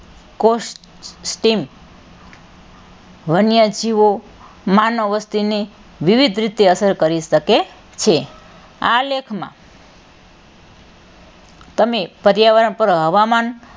કોષ્ટિમ વન્યજીવો માનવવસ્તી ને વિવિધ રીતે અસર કરી શકે છે આ લેખમાં તમે પર્યાવરણ પર હવામાંન,